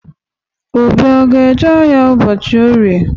Obi a ga-eje ahịa ụbọchị Orie?